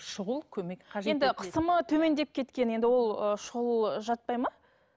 шұғыл көмек қысымы төмендеп кеткен енді ол шұғыл жатпайды ма